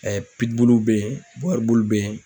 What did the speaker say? bɛ yen bɛ yen.